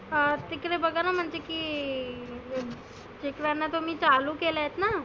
हं तीकडे बघाना की जिथ वरण चालु केलत ना